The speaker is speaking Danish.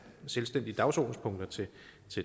selvstændige dagsordenspunkter til